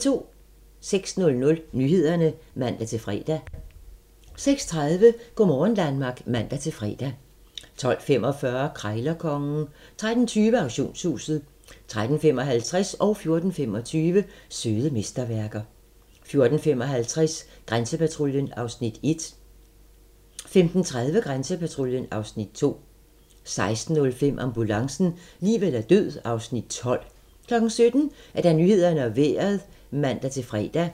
06:00: Nyhederne (man-fre) 06:30: Go' morgen Danmark (man-fre) 12:45: Krejlerkongen 13:20: Auktionshuset 13:55: Søde mesterværker 14:25: Søde mesterværker 14:55: Grænsepatruljen (Afs. 1) 15:30: Grænsepatruljen (Afs. 2) 16:05: Ambulancen - liv eller død (Afs. 12) 17:00: Nyhederne og Vejret (man-fre)